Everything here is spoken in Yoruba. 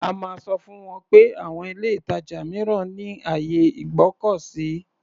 A máa sọ fún wọn pé àwon ilé-ìtàjà mìíràn ní àyè ìgbọ́kọ̀sí.